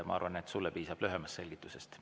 Ma arvan, et sulle piisab lühemast selgitusest.